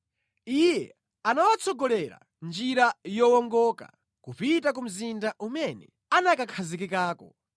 Iye anawatsogolera mʼnjira yowongoka kupita ku mzinda umene anakakhazikikako.